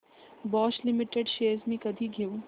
Bosch limited shares मी कधी घेऊ